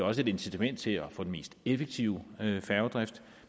også et incitament til at få den mest effektive færgedrift